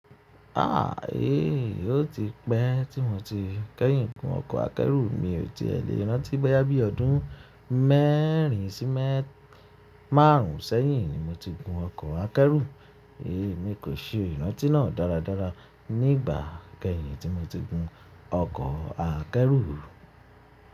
Ah eh, ó ti pẹ́ tí mo ti kẹ́yìn gun ọkọ̀ akẹ́rù. Mi ò ti è lè rántí, bóyá bí ọdún mẹ́ẹ̀rin sí máàrún sẹ́yìn ni mo ti gun ọkọ̀ akẹ́rù. Mi kò ṣe ìrántí náà dáradára nígbà kẹ́yìn tí mo ti gun ọkọ̀ akẹ́rù.